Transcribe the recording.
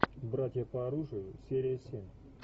братья по оружию серия семь